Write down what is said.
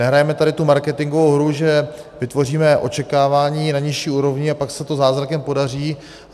Nehrajme tady tu marketingovou hru, že vytvoříme očekávání na nižší úrovni a pak se to zázrakem podaří.